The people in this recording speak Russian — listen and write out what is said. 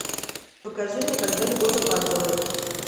покажи мне когда любовь опаздывает